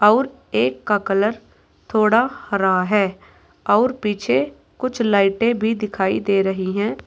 और एक का कलर थोड़ा हरा है और पीछे कुछ लाइटें भी दिखाई दे रही हैं।